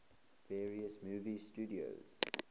various movie studios